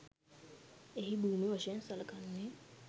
එහි භූමි වශයෙන් සළකන්නේ